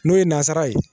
N'o ye nazarara ye